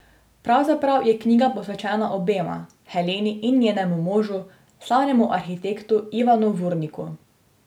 Pravzaprav je knjiga posvečena obema, Heleni in njenemu možu, slavnemu arhitektu Ivanu Vurniku.